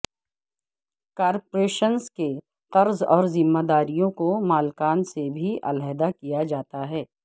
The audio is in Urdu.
کارپوریشنز کے قرض اور ذمہ داریوں کو مالکان سے بھی علیحدہ کیا جاتا ہے